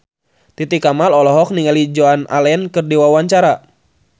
Titi Kamal olohok ningali Joan Allen keur diwawancara